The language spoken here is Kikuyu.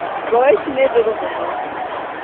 Mboga ici nĩ ndũrũ mũno